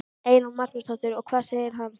Eyrún Magnúsdóttir: Og hvað segir hann?